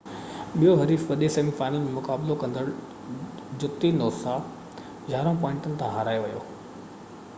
ٻيو حريف وڏي سيمي فائنل ۾ مقابلو ڪندو جتي نوسا 11 پوائنٽن کان هارائي ويئي